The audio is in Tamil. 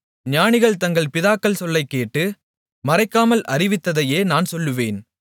ஞானிகள் தங்கள் பிதாக்கள் சொல்லக் கேட்டு மறைக்காமல் அறிவித்ததையே நான் சொல்லுவேன்